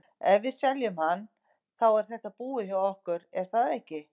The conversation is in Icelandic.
Ef við seljum hann, þá er þetta búið hjá okkur er það ekki?